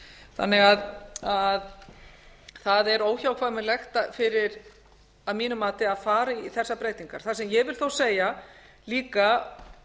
þannig að það er óhjákvæmilegt að mínu mati að fara í þessar breytingar það sem ég vil þó segja líka